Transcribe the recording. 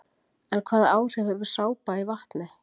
En hvaða áhrif hefur sápa í vatni?